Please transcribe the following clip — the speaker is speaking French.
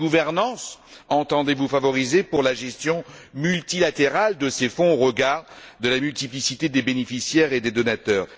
Quelle gouvernance entendez vous favoriser pour la gestion multilatérale de ces fonds au regard de la multiplicité des bénéficiaires et des donateurs?